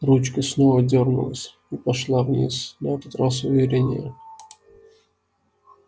ручка снова дёрнулась и пошла вниз на этот раз увереннее